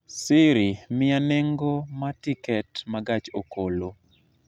siri miya nengo ma tiket ma gach okolo